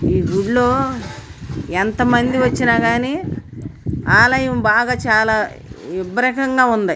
ఈ గుడి లో ఎంత మంది వచ్చినా గాని ఆలయం బాగా చాలా ఇబ్రహం గా ఉంది.